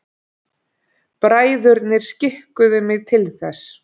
Bræðurnir skikkuðu mig til þess.